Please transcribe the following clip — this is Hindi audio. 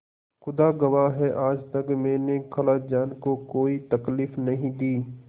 खुदा गवाह है आज तक मैंने खालाजान को कोई तकलीफ नहीं दी